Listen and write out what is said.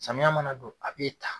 Samiya mana don a b'e ta.